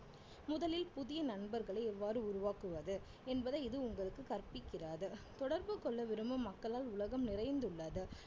முதலில் புதிய நண்பர்களை எவ்வாறு உருவாக்குவது என்பதை இது உங்களுக்கு கற்பிக்கிறது தொடர்பு கொள்ள விரும்பும் மக்களால் உலகம் நிறைந்துள்ளது